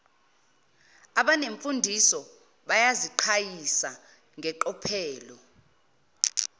abanemfundiso bayaziqhayisa ngeqophelo